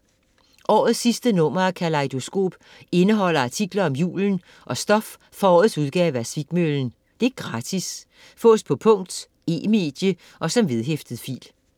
Årets sidste nummer af Kalejdoskop indeholder artikler om julen og stof fra årets udgave af Svikmøllen. Gratis. Fås på punkt, e-medie og som vedhæftet fil